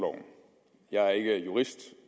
jeg er er ikke jurist